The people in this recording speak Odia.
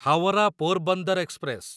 ହାୱରା ପୋରବନ୍ଦର ଏକ୍ସପ୍ରେସ